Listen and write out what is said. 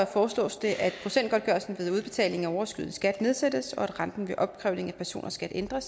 foreslås det at procentgodtgørelsen ved udbetaling af overskydende skat nedsættes og at renten ved opkrævning af personers skat ændres